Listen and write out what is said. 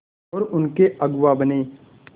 और उनके अगुआ बने